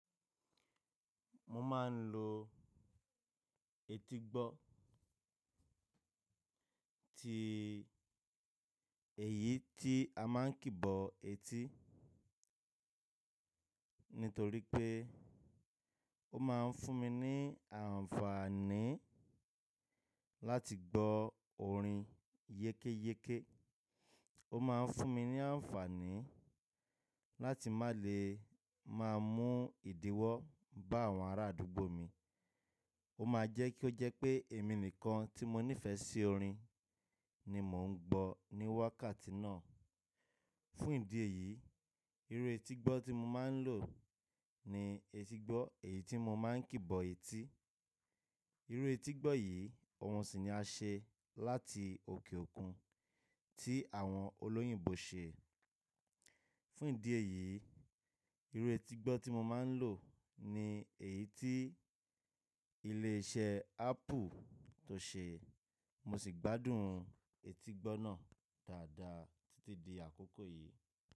Mo máa ń lo etígbọ́ ti èyí tí a máa ń kìbọ etí, nítorí pé ó máa ń fún mi ní àǹfààní láti gbọ́ orin yékéyéké. Ó máa ń fún mi ní àǹfààní láti má lè má mú ìdíwọ́ bá àwọn arádúgbò mi. Ó máa jẹ́ kí ó jẹ́ pé èmi nìkan tí mo nífẹ̀ẹ́ sí orin ni mò ń gbọ́ ní wákàtí náà. Fún ìdí èyí, irú etígbọ́ tí mo máa ń lò ni etígbọ́ èyí tí mo máa ń kìbọ etí. Irú etígbọ́ yìí, òhun sì ni á ṣe láti òkè òkun tí àwọn olóyìnbo ṣe. Fún ìdí èyí, irú etígbọ́ tí mo máa ń lò ni èyí tí ilé iṣẹ́ Apple tó ṣe. Mo sì gbádùn etígbọ́ náà dáadáa títí di àkókò yìí.